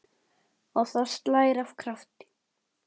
Og það slær af krafti.